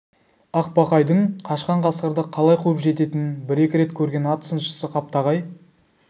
ақбақайдың қашқан қасқырды қалай қуып жететінін бір-екі рет көрген ат сыншысы қаптағай